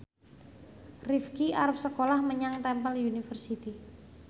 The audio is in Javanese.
Rifqi arep sekolah menyang Temple University